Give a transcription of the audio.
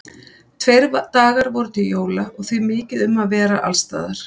Tveir dagar voru til jóla og því mikið um að vera alls staðar.